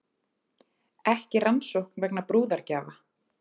Ekki rannsókn vegna brúðargjafa